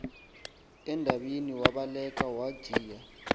edabini wabaleka wajiya